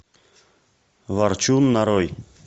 ворчун нарой